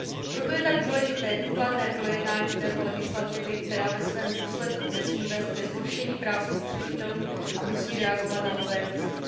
Proto je tak důležité důkladné projednání této legislativy, která ve svém důsledku nesmí vést ke zhoršení práv spotřebitelů a musí reagovat na nové výzvy.